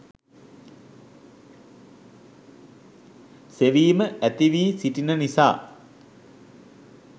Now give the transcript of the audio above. සෙවීම ඇති වී සිටින නිසා